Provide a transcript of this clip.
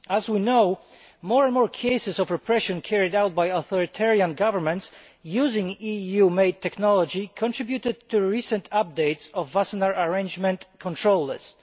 As we know, more and more cases of repression carried out by authoritarian governments using EU made technology contributed to recent updates of the Wassenaar Arrangement control list.